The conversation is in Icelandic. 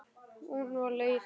Hún var leið.